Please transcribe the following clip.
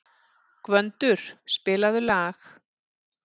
Gvöndur, spilaðu lag.